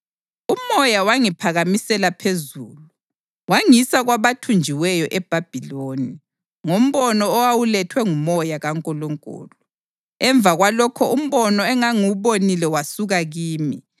UMoya wangiphakamisela phezulu wangisa kwabathunjiweyo eBhabhiloni ngombono owawulethwe nguMoya kaNkulunkulu. Emva kwalokho umbono engangiwubonile wasuka kimi,